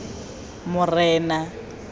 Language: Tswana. morena